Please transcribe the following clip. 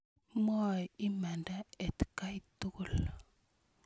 Mwoe imanda atkan tukul.